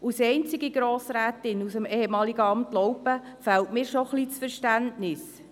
Als einzige Grossrätin aus dem ehemaligen Amt Laupen fehlt mir doch ein wenig das Verständnis.